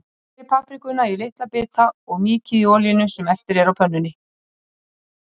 Skerið paprikuna í litla bita og mýkið í olíunni sem eftir er á pönnunni.